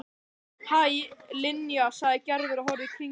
Hæ, Linja sagði Gerður og horfði í kringum sig.